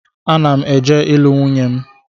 M na eje ilu nwunye m